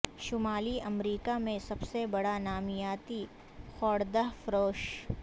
شمالی امریکہ میں سب سے بڑا نامیاتی خوردہ فروش